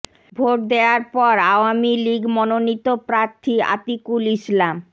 vote দেয়ার পর আওয়ামী লীগ মনোনীত প্রার্থী আতিকুল ইসলাম